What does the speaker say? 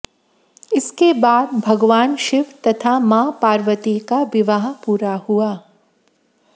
इसके बाद भगवान शिव तथा मां पार्वती का विवाह पूरा हुआ